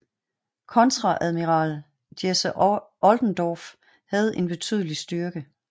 Kontreadmiral Jesse Oldendorf havde en betydelig styrke